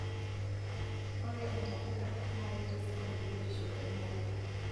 Ore ntapuka na kitisidan biotisho olmarei